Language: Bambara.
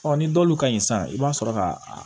ni dɔwlu ka ɲi sisan i b'a sɔrɔ ka